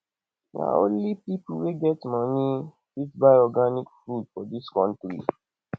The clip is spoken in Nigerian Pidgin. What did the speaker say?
na only pipo wey get moni fit buy organic food for dis country